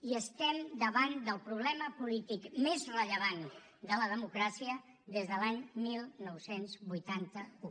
i estem davant del problema polític més rellevant de la democràcia des de l’any dinou vuitanta u